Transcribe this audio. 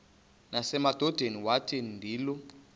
nasemadodeni wathi ndilu